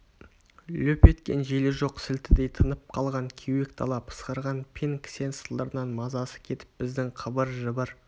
лүп еткен желі жоқ сілтідей тынып қалған кеуек дала пысқырған пен кісен сылдырынан мазасы кетіп біздің қыбыр-жыбыр